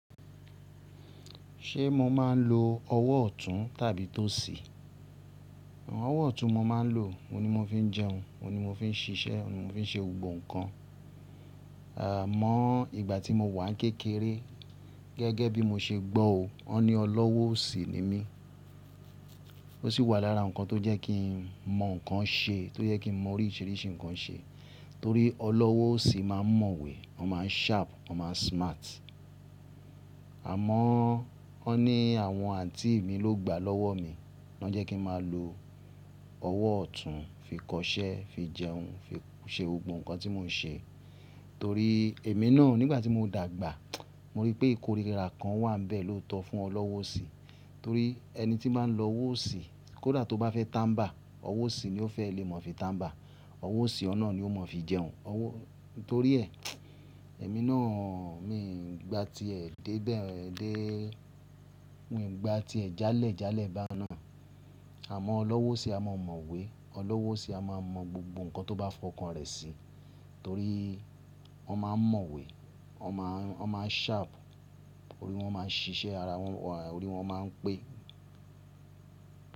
Ṣé mo máa ń lo ọwọ́ ọ̀tún tàbí tòsí? Ọwọ́ ọ̀tún mo máa ń lò. Ó ní mo fi ń jẹun, ó ní mo fi ń ṣiṣẹ́, ó fi ń ṣe gbogbo nǹkan. Àmọ́ ìgbà tí mo wà ní kékeré gẹ́gẹ́ bí mo ṣe gbọ́ o, wọ́n ní ọlọ́wọ́ òsì ni mí. Ó sì wà lára nǹkan tó jẹ́ kí n mọ nǹkan ṣe, tó jẹ́ kí n mọ oríṣiríṣi nǹkan ṣe torí ọlọ́wọ́ òsì máa ń mọ̀wé, wọ́n máa ń sharp, wọ́n máa ń smart. Àmọ́ wọ́n ni àwọn àǹtí mi ló gba lọ́wọ́ mi, wọ́n jẹ́ kí n máa lo ọwọ́ ọ̀tún fi kọṣẹ́, fi jẹun, fi ṣe gbogbo nǹkan tí mo ń ṣe torí èmi náà nígbà tí mo dàgbà mo rí pé ìkórìíra kan wà níbẹ̀ lóòótọ́ fún ọlọ́wọ́ òsì torí ẹni tí máa ń lọ wòsì kó dà tó bá fẹ́ tàmbà, ọwọ́ òsì ni ó fẹ́ lè mọ̀ fi tàmbà, ọwọ́ òsì ọ̀nà ni ó mọ̀ fi jẹun. Torí ẹ, èmi náà mi ò gba tiẹ̀ dé dé, mi ò gba tiẹ̀ jálẹ̀ jálẹ̀ bá a náà. Àmọ́ ọlọ́wọ́ sì á máa mọ̀wé, ọlọ́wọ́ sì á máa mọ gbogbo nǹkan tó bá fọkàn rẹ̀ sí torí wọ́n máa ń mọ̀wé, wọ́n máa ń sharp, orí wọn máa ń ṣiṣẹ́ ara wọn, orí wọn máa ń pé.